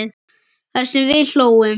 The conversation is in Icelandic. Það sem við hlógum.